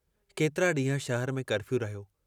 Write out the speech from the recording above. केतिरा डींहं शहर में कर्फ़ियू रहियो।